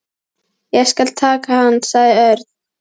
Ég skal taka hann sagði Örn.